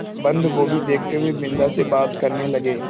बन्दगोभी देखते हुए बिन्दा से बात करने लगे